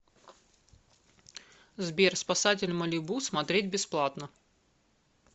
сбер спасатель малибу смотреть бесплатно